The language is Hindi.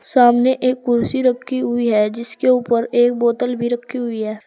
सामने एक कुर्सी रखी हुई है जिसके ऊपर एक बोतल भी रखी हुई है।